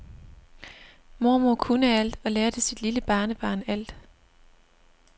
Mormor kunne alt og lærte sit lille barnebarn alt.